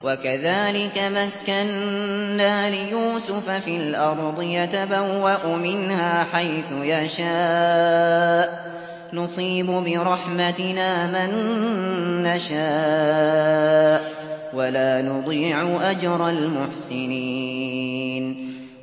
وَكَذَٰلِكَ مَكَّنَّا لِيُوسُفَ فِي الْأَرْضِ يَتَبَوَّأُ مِنْهَا حَيْثُ يَشَاءُ ۚ نُصِيبُ بِرَحْمَتِنَا مَن نَّشَاءُ ۖ وَلَا نُضِيعُ أَجْرَ الْمُحْسِنِينَ